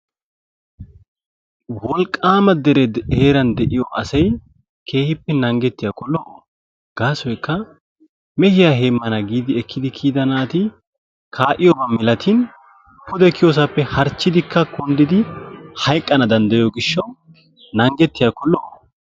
Wolqqaama deree heeran de'iyo asi keehippe naanggetiyaakko lo"o. Gaassoykka mehiya heemaana giidi ekkkidi kiyida naati kaaiyoba malatin pude kiyossaappe harchchidikka kundidi haqqana danddayiyo gishshawu naanggetiyaakko lo"o.